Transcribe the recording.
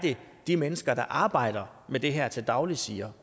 de mennesker der arbejder med det her til daglig siger